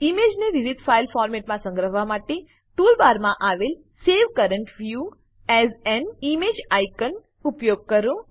ઈમેજને વિવિધ ફાઈલ ફોર્મેટોમાં સંગ્રહવા માટે ટૂલ બારમાં આવેલ save current view as an image આઇકોનનો ઉપયોગ કરો